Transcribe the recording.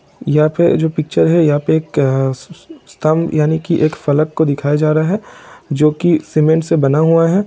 यहाँ पे जो पिक्चर है यहाँ पे एक स-स-स्तंभ यानी की एक फलक को दिखाया जा रहा है जो कि सीमेंट से बना हुआ है।